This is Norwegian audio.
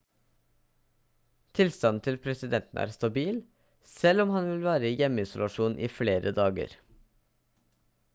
tilstanden til presidenten er stabil selv om han vil være i hjemmeisolasjon i flere dager